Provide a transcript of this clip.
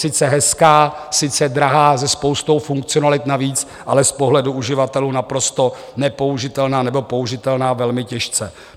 Sice hezká, sice drahá se spoustou funkcionalit navíc, ale z pohledu uživatelů naprosto nepoužitelná, nebo použitelná velmi těžce.